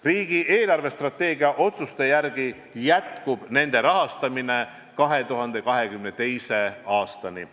Riigi eelarvestrateegia otsuste kohaselt jätkub nende rahastamine 2022. aastani.